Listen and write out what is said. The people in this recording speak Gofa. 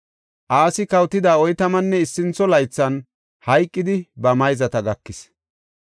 Asi kawotida oytamanne issintho laythan hayqidi ba mayzata gakis.